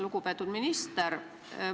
Lugupeetud minister!